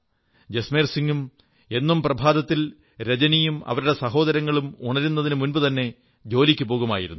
ജസ്മേർ സിംഗ് എന്നും പ്രഭാതത്തിൽ രജനിയും അവരുടെ സഹോദരങ്ങളും ഉണരുന്നതിനു മുമ്പുതന്നെ ജോലിക്കു പോകുന്നു